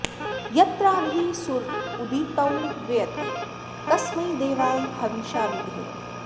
यत्राधि सूर उदितौ व्येति कस्मै देवाय हविषा विधेम